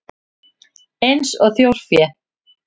Eins og þjórfé?